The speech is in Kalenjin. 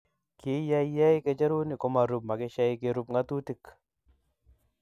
Kiyeyei kecheruni komarub makishe kerub ngatutik.